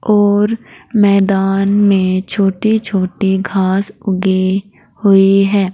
और मैदान में छोटे छोटे घास उगे हुई है।